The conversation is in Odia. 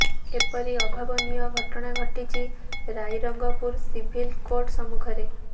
ଏପରି ଅଭାବନୀୟ ଘଟଣା ଘଟିଛି ରାଇରଙ୍ଗପୁର ସିଭିଲ କୋର୍ଟ ସମ୍ମୁଖ ରେ